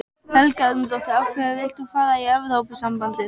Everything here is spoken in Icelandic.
Helga Arnardóttir: Af hverju vilt þú fara í Evrópusambandið?